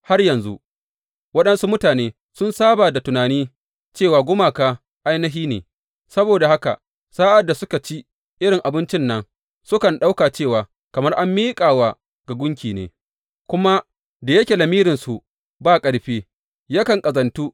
Har yanzu, waɗansu mutane sun saba da tunani cewa gumaka ainihi ne, saboda haka sa’ad da suka ci irin abincin nan, sukan ɗauka cewa kamar an miƙa wa ga gunki ne, kuma da yake lamirinsu ba ƙarfi, yakan ƙazantu.